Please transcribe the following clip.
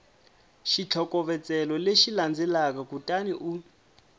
xitlhokovetselo lexi landzelaka kutani u